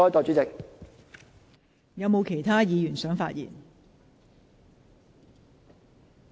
是否有其他議員想發言？